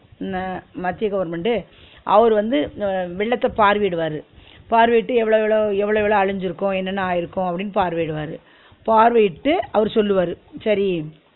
ந மத்திய government உ அவர் வந்து வ~ வெள்ளத்த பார்வயிடுவாரு பார்வயிட்டு எவ்ளோ எவ்ளோ எவ்ள எவ்ள அழிச்சிருக்கு என்ன என்ன ஆயிருக்கு அப்டினு பார்வயிடுவாரு பார்வயிட்டு அவரு சொல்வாரு சரி